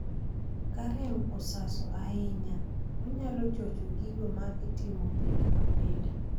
Ka rem osaso hainya ,onyalo chocho gigo ma itimo pile ka pile.